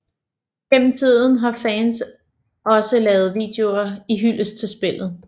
Gennem tiden har fans også lavet videoer i hyldest til spillet